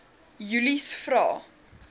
julies vra